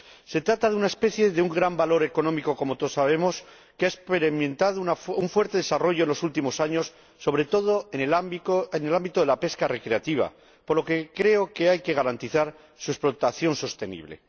Se trata de una especie de un gran valor económico, como todos sabemos, que ha experimentado un fuerte desarrollo en los últimos años, sobre todo en el ámbito de la pesca recreativa, por lo que creo que hay que garantizar su explotación sostenible.